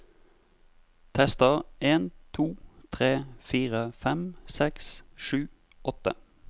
Tester en to tre fire fem seks sju åtte